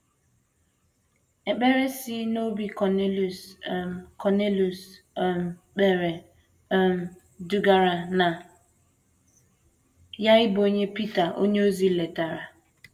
Ekpere si n’obi Kọniliọs um Kọniliọs um kpere um dugara na ya ịbụ onye Pita onyeozi letara